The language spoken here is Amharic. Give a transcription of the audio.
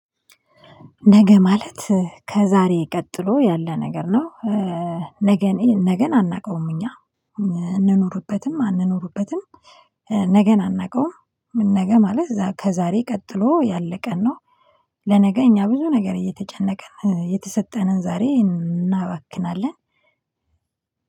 ነገ ማለት ከዛሬ ቀጥሎ ያለ ነገር ነው። ነገን አናቀውም እኛ እንኑርበትም አንኑርበትም። ነገን አናቀውም ም ነገ ማለት ከዛሬ ቀጥሎ ያለ ቀን ነው። ለነገ እኛ ብዙ ነገር እየተጨነቅን የተሰጠንን ዛሬ እናባክናለን።